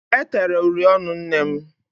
E tere uri ọnụ nnem.